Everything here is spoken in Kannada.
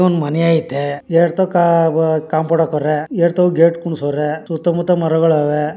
ಮನೆ ಐತೆ ಎರಡ್ ತವ್ಕ ಆ ವಾ ಕಾಂಪೌಂಡ್ ಹಾಕೌವ್ರೆ ಎರಡ್ ತವ್ ಗೇಟ್ ಕುಂಡ್ರ್ಸೌವ್ರೆ ಸುತ್ತ ಮುತ್ತ ಮರಗಳವೇ.